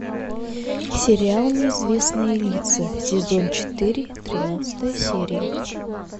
сериал неизвестные лица сезон четыре тринадцатая серия